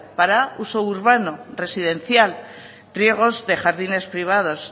para uso urbano residencial riegos de jardines privados